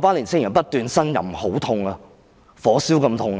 那群青年人不斷呻吟，說很痛，是像火燒般的痛。